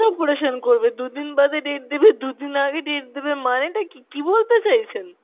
operation করবে? দুদিন বাদে date দেবে, দুদিন আগে date দেবে মানেটা কী? কী বলতে চাইছেন?